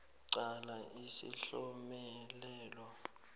qala isihlomelelo b